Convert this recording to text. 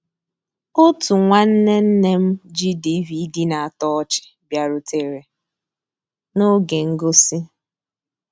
Ótú nnwànné nné m jì DVD ná-àtọ́ ọ́chị́ bìàrùtérè n'ògé ngósì.